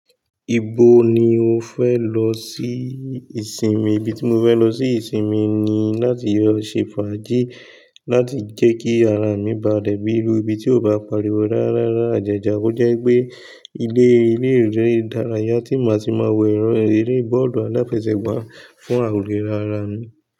Ibo ni o fẹ lọ sí ìsinmi? Ibi tí mo fẹ lọ sí ìsinmi ni láti lọ ṣe fàájì láti jẹ́ kí ara mi ba lẹ̀ bí iru ibi tí ó bá pariwo rárá rárá jẹja. Ó jẹ́ pé ilé ilé ìdárayá tí màá ti máa wo ẹ̀rọ eré bọ́ọ̀lù aláfẹsẹ̀gbá fún ìlera ara mi.